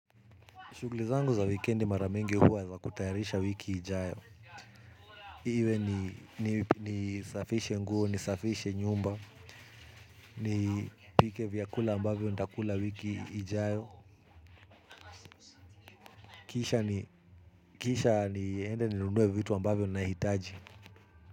Shuguli zangu za wikendi mara mingi huwa za kutayarisha wiki ijayo. Iwe nisafishe nguo, nisafishe nyumba. Nipike vyakula ambavyo ntakula wiki ijayo. Kisha niende ninunue vitu ambavyo nahitaji.